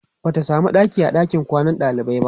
Bata samu ɗaki a ɗakin kwanan ɗalibai ba